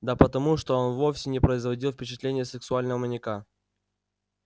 да потому что он вовсе не производил впечатления сексуального маньяка